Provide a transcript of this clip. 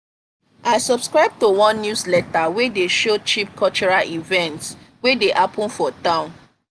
i subscribe to one newsletter wey dey show cheap cultural events wey dey happen for town.